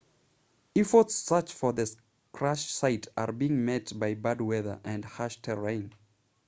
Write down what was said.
efforts to search for the crash site are being met by bad weather and harsh terrain